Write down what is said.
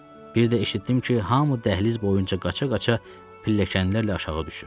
Bir də eşitdim ki, hamı dəhliz boyunca qaça-qaça pilləkənlərlə aşağı düşür.